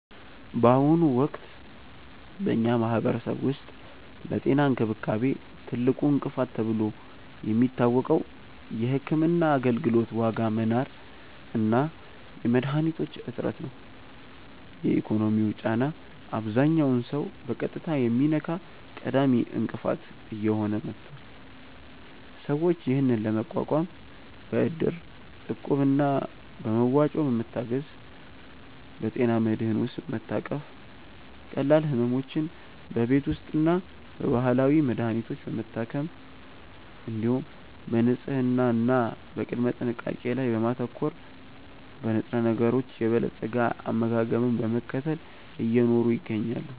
በአሁኑ ወቅት በኛ ማህበረሰብ ውስጥ ለጤና እንክብካቤ ትልቁ እንቅፋት ተብሎ የሚታወቀው የሕክምና አገልግሎት ዋጋ መናር እና የመድኃኒቶች እጥረት ነው። የኢኮኖሚው ጫና አብዛኛውን ሰው በቀጥታ የሚነካ ቀዳሚ እንቅፋት እየሆነ መጥቷል። ሰዎች ይህንን ለመቋቋም በእድር፣ እቁብ እና በመዋጮ በመታገዝ፣ በጤና መድህን ውስጥ በመታቀፍ፣ ቀላል ሕመሞችን በቤት ውስጥና በባህላዊ መድሀኒቶች በመታከም፣ እንዲሁም በንጽህና እና በቅድመ ጥንቃቄ ላይ በማተኮር፣ በንጥረነገሮች የበለፀገ አመጋገብን በመከተል እየኖሩ ይገኛሉ።